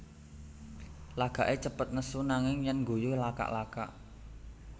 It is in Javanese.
Lagaké cepet nesu nanging yèn ngguyu lakak lakak